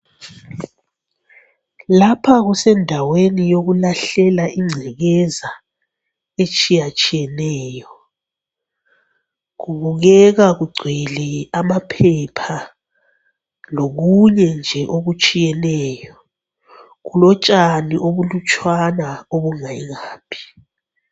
Lapha kusendaweni yokulahlela ingcekeza etshiyatshiyeneyo. Kubukeka kugcwele amaphepha lokunye nje okutshiyeneyo. Kulotshani obulutshwana obungayingaphi.